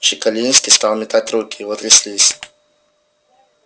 чекалинский стал метать руки его тряслись